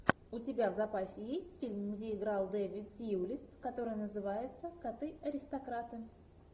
у тебя в запасе есть фильм где играл дэвид тьюлис который называется коты аристократы